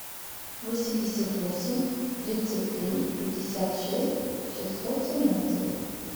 восемьдесят восемь тридцать три пятьдесят шесть шестьсот семнадцать